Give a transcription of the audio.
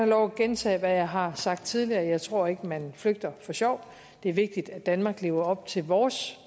lov at gentage hvad jeg har sagt tidligere jeg tror ikke man flygter for sjov det er vigtigt at vi i danmark lever op til vores